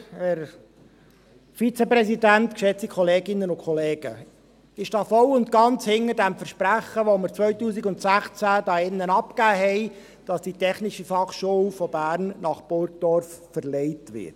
Ich stehe voll und ganz zu diesem Versprechen, das wir 2016 hier drin abgegeben haben, dass die TF von Bern nach Burgdorf verlegt wird.